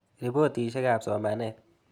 Ripotisyek ap somanet.